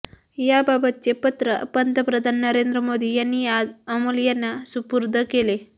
याबाबतचे पत्र पंतप्रधान नरेंद मोदी यांनी आज अमोल यांना सुपूर्द केले